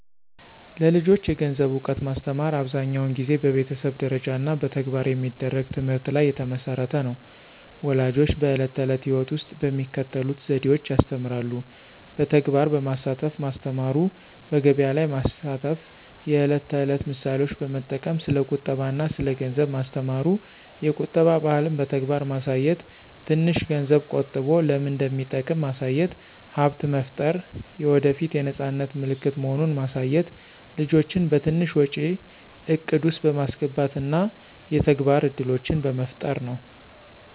ለልጆች የገንዘብ እውቀት ማስተማር አብዛኛውን ጊዜ በቤተሰብ ደረጃ እና በተግባር በሚደረግ ትምህርት ላይ የተመሠረተ ነው። ፣ ወላጆች በዕለት ተዕለት ሕይወት ውስጥ በሚከተሉት ዘዴዎች ያስተምራሉ። በተግባር በማሳተፍ ማስተማሩ፣ በገቢያ ላይ ማስተፍ፣ የዕለት ተዕለት ምሳሌዎች በመጠቅም ስለ ቁጠባ አና ስለ ገንዘብ ማስተማሩ፣ የቁጠባ ባህልን በተግባር ማሳየት፣ ትንሽ ገንዝብ ቆጠቦ ለምን እንደሚጠቅም ማሳየት፣ ሀብት መፍጠር የወደፏት የነፃነት ምልክት መሆኑን ማሳየት፣ ልጆችን በትንሽ ወጪ እቅድ ውስጥ በማስገባት እና የተግባር እድሎችን በመፍጠር ነው።